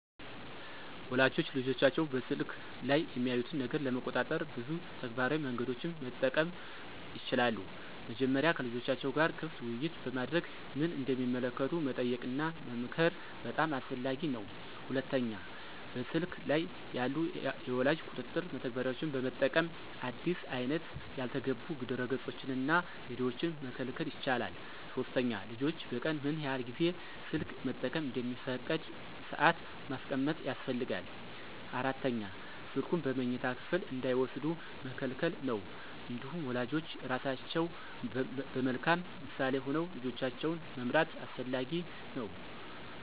ወላጆች ልጆቻቸው በስልክ ላይ የሚያዩትን ነገር ለመቆጣጠር ብዙ ተግባራዊ መንገዶችን መጠቀም ይችላሉ። መጀመሪያ ከልጆቻቸው ጋር ክፍት ውይይት በማድረግ ምን እንደሚመለከቱ መጠየቅና መመክር በጣም አስፈላጊ ነው። ሁለተኛ በስልክ ላይ ያሉ የወላጅ ቁጥጥር መተግበሪያዎችን በመጠቀም አዲስ አይነት ያልተገቡ ድረገፆችንና ቪዲዮዎችን መከልከል ይቻላል። ሶስተኛ ልጆች በቀን ምን ያህል ጊዜ ስልክ መጠቀም እንደሚፈቀድ ሰአት ማስቀመጥ ያስፈልጋል። አራተኛ ስልኩን በመኝታ ክፍል እንዳይወስዱ መከልከል ነው። እንዲሁም ወላጆች ራሳቸው በመልካም ምሳሌ ሆነው ልጆቻቸውን መምራት አስፈላጊ ነው።